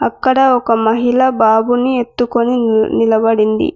అక్కడ ఒక మహిళా బాబుని ఎత్తుకొని నిలబడి ఉన్నాది.